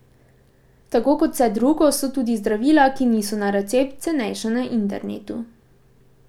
Tako kot vse drugo, so tudi zdravila, ki niso na recept, cenejša na internetu.